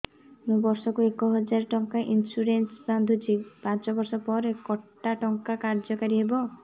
ମୁ ବର୍ଷ କୁ ଏକ ହଜାରେ ଟଙ୍କା ଇନ୍ସୁରେନ୍ସ ବାନ୍ଧୁଛି ପାଞ୍ଚ ବର୍ଷ ପରେ କଟା ଟଙ୍କା କାର୍ଯ୍ୟ କାରି ହେବ